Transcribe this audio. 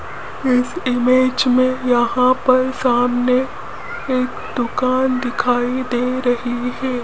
इस इमेज में यहां पर सामने एक दुकान दिखाई दे रही है।